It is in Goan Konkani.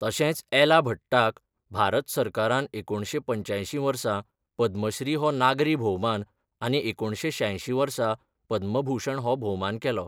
तशेंच एला भट्टाक भारत सरकारान एकुणशें पंच्यांयशीं वर्सा पद्मश्री हो नागरी भोवमान, आनी एकुणशें शांयशीं वर्सा पद्मभूषण हो भोवमान केलो.